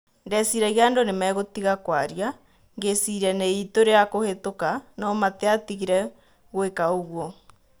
Ndeciragia andũ nimegũtiga kũaria - ngĩciria nĩitu rĩakũhetũka - No-matiatigire gũĩka ũguo."